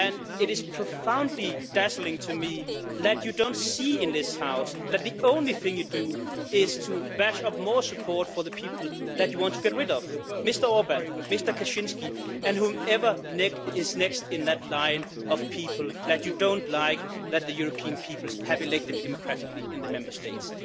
It is profoundly dazzling to me that you don't see in this House that the only thing you do is bash up more support for the people that want to get rid of Mr Orbán, Mr Kaczyński, and whoever is next in that line of people that you don't like, that the European peoples have elected democratically in the Member States.